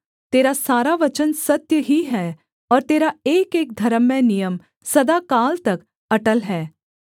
तेरा सारा वचन सत्य ही है और तेरा एकएक धर्ममय नियम सदाकाल तक अटल है